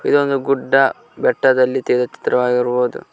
ಇದು ಒಂದು ಗುಡ್ಡ ಬೆಟ್ಟದಲ್ಲಿ ತೆಗೆದ ಚಿತ್ರ ವಾಗಿರಬಹುದು.